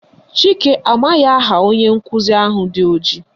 Chike amaghị aha onye nkụzi ahụ dị ojii